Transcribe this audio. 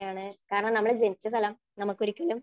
യാണ് കാരണം നമ്മൾ ജനിച്ച സ്ഥലം നമുക്കൊരിക്കലും.